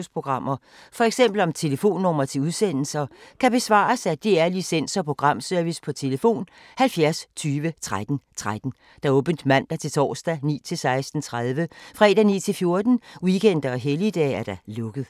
Spørgsmål om Danmarks Radios programmer, f.eks. om telefonnumre til udsendelser, kan besvares af DR Licens- og Programservice: tlf. 70 20 13 13, åbent mandag-torsdag 9.00-16.30, fredag 9.00-14.00, weekender og helligdage: lukket.